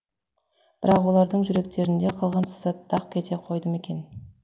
бірақ олардың жүректерінде қалған сызат дақ кете қойды ма екен